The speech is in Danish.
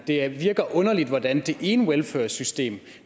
det virker underligt at at det ene welfursystem